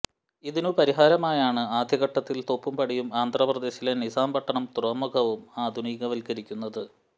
ഇതിനു പരിഹാരമായാണ് ആദ്യ ഘട്ടത്തിൽ തോപ്പുംപടിയും ആന്ധ്രപ്രദേശിലെ നിസാംപട്ടണം തുറമുഖവും ആധുനികവത്കരിക്കുന്നത്